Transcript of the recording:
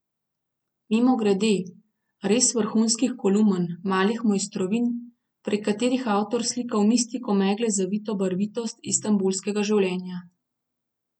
Mimogrede, res vrhunskih kolumn, malih mojstrovin, prek katerih avtor slika v mistiko megle zavito barvitost istanbulskega življenja.